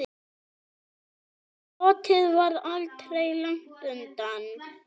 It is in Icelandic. Glottið var aldrei langt undan.